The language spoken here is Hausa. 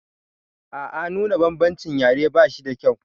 A a nuna bambancin yare ba shida kyau.